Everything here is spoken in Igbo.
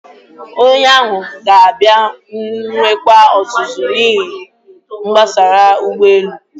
Onye ahụ ga-abịa nwekwa ọzụzụ n'ihe gbasara ụgbọelu.